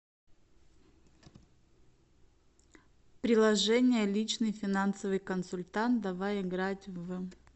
приложение личный финансовый консультант давай играть в